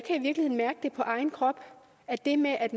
i på egen krop at det med at